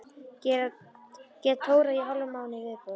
Get tórað í hálfan mánuð í viðbót.